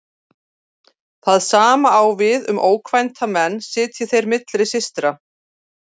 Það sama á við um ókvænta menn sitji þeir milli systra.